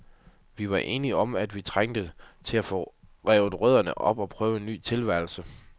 Vi var enige om, at vi trængte til at få revet rødderne op og prøve en ny tilværelse.